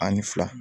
Ani fila